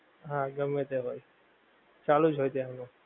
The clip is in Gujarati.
હા ગમ્મે તે હોએ ચાલુજ હોએ ત્યાં આગળ